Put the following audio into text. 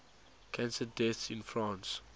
cancer deaths in france